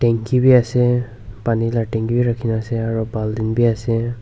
bi ase pani laa tanki bi ase aru baltin bi ase.